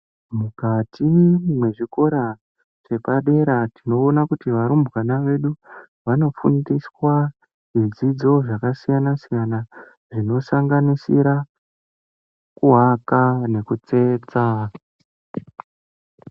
Mukati mezvikora zvapadera, tinoona kuti varumbwana vedu vanofundiswa zvidzidzo zvakasiyana siyana zvinosanganisira kuvaka nekutsetsa.